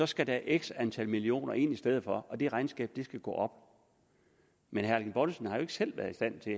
skal der x antal millioner kroner ind i stedet for og det regnskab skal gå op men herre erling bonnesen har heller ikke selv været i stand til